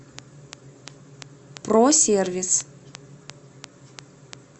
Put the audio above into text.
просервис